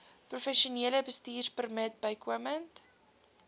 professionele bestuurpermit bykomend